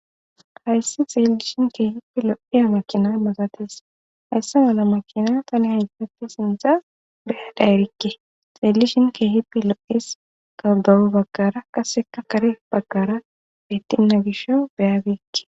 hayssi xeellishin keehippi lo'iya makina malates, haysse mala makina tani hayssatti sintza beya da erikke xeellishin keehippi lo'es kawudawu bagkara qasseka kare bagkara bitinna gisho beyabeekke